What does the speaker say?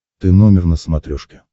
ты номер на смотрешке